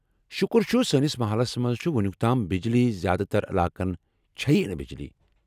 شُکُر چُھ سٲنس محلس منٛز چھے٘ وُنُیٚک تام بِجلی ، زیٛادٕ تر علاقن چھیی نہٕ بجلی ۔